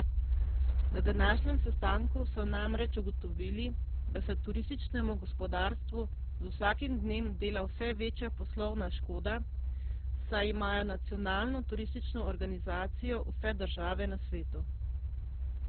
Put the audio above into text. Na današnjem sestanku so namreč ugotovili, da se turističnemu gospodarstvu z vsakim dnem dela vse večja poslovna škoda, saj imajo nacionalno turistično organizacijo vse države na svetu.